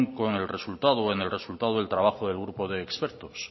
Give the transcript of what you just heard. con el resultado en el resultado del trabajo de grupos de expertos